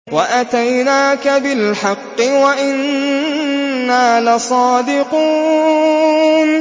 وَأَتَيْنَاكَ بِالْحَقِّ وَإِنَّا لَصَادِقُونَ